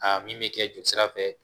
Aa min bɛ kɛ joli sira fɛ